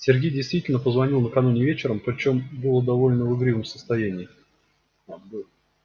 сергей действительно позвонил накануне вечером причём был в довольно игривом состоянии